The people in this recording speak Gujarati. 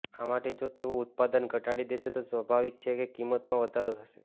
આ માટે જો તેઓ ઉત્પાદન ઘટાડી દેશે તો સ્વાભાવિક છે કે કિંમતમાં વધારો થશે